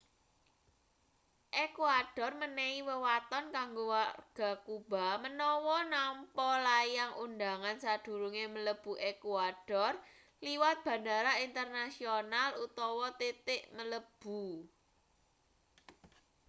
ékuador menehi wewaton kanggo warga kuba menawa nampa layang undhangan sadurunge mlebu ékuador liwat bandara internasional utawa titik mlebu